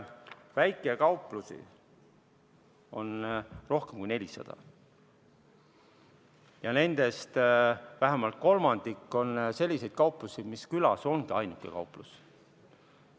Väikekauplusi on rohkem kui 400 ja nendest vähemalt kolmandik on sellised, et see ongi külas ainuke kauplus.